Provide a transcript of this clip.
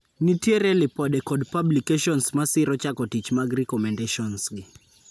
Nitiere lipode kod publications masiro chako tich mag recommendations gi.